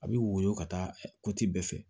A bɛ woyɔ ka taa bɛɛ fɛ